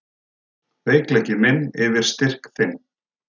Veikleiki minn yfir styrk þinn.